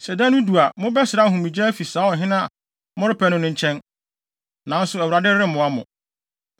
Sɛ da no du a, mobɛsrɛ ahomegye afi saa ɔhene a morepɛ no no nkyɛn, nanso Awurade remmoa mo.”